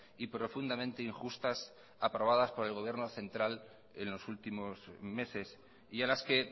y profundamente injustas aprobadas por el gobierno central en los últimos meses y a las que